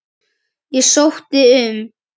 Ég sótti um.